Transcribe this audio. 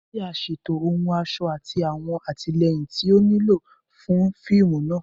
Aṣọ ti a ṣeto ohun ọṣọ ati awọn atilẹyin ti o nilo fun fiimu naa